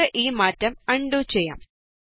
നമുക്ക് ഈ മാറ്റം ആണ് ഡു ചെയ്യാം